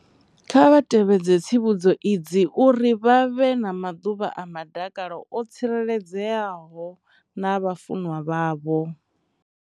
Kha vha tevhedze tsivhudzo idzi uri vha vhe na maḓuvha a madakalo o tsireledzeaho na vhafunwa vhavho.